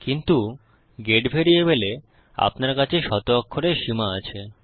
কিন্তু গেট ভ্যারিয়েবলে আপনার কাছে শত অক্ষরের সীমা আছে